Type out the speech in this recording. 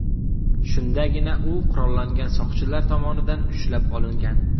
Shundagina u qurollangan soqchilar tomonidan ushlab olingan.